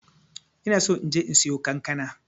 ina so inje in siyo kankana.